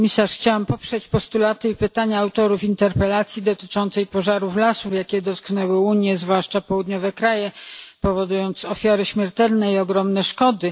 Chciałam poprzeć postulaty i pytania autorów interpelacji dotyczącej pożarów lasów, jakie dotknęły Unię, a zwłaszcza południowe kraje, powodując ofiary śmiertelne i ogromne szkody.